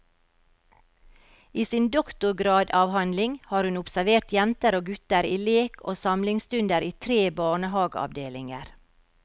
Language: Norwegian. I sin doktorgradavhandling har hun observert jenter og gutter i lek og samlingsstunder i tre barnehageavdelinger.